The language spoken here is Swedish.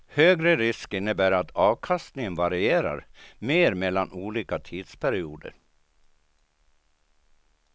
Högre risk innebär att avkastningen varierar mer mellan olika tidsperioder.